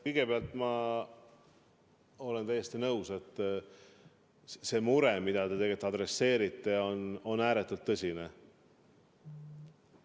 Kõigepealt, ma olen täiesti nõus, et see mure, millele te tähelepanu juhite, on ääretult tõsine.